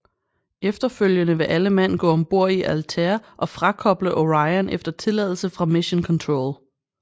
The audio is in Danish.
Efterfølgende vil alle mand gå om bord i Altair og frakoble Orion efter tilladelse fra Mission Control